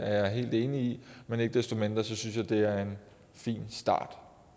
jeg helt enig i men ikke desto mindre synes jeg det er en fin start